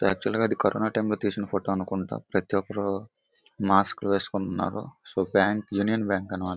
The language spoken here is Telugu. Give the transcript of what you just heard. ఇది యాక్చువల్ గా కరోనా టైం లో తీసిన ఫోటో అనుకుంటా. ప్రతి ఒక్కరూ మాస్కులు వేసుకుంటున్నారు. సో బ్యాంకు యూనియన్ బ్యాంక్ అన్నమాట.